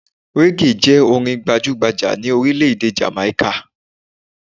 Reggae jẹ orin gbajugbaja ni orílẹ̀-èdè Jàmàíkà